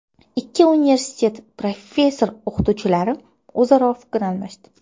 Ikki universitet professor-o‘qituvchilari o‘zaro fikr almashdi.